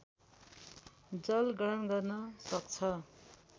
जल ग्रहण गर्न सक्छ